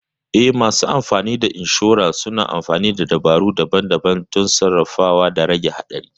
Eh, masu insurer suna amfani da dabaru daban-daban don sarrafawa da rage haɗari.